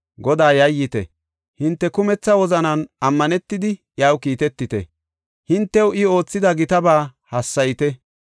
Godaa yayyite; hinte kumetha wozanan ammanetidi, iyaw kiitetite; hintew I oothida gitaba hassayite.